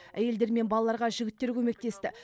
әйелдер мен балаларға жігіттер көмектесті